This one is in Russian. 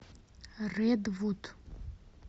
редвуд